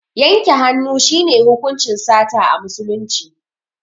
Yanke hannu shi ne hukuncin sata a musulunci